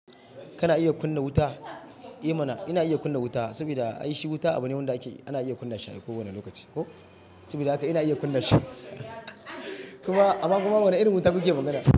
Kana iya kunna wuta? Eh mana ina iya kunna wuta saboda ai shi wuta abu ne wanda ake, ana iya kunna shi a kowane lokaci. Ho! Saboda haka ina iya kunna shi kuma amma kuma wane irin wuta kuke magana?